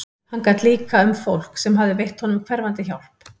Hann gat líka um fólk sem hafði veitt honum hverfandi hjálp.